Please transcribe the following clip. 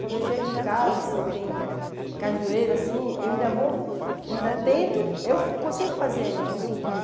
Quando eu chego em casa, assim, tem cajueiro, assim, eu ainda vou, ainda tento, eu consigo fazer ainda, subir.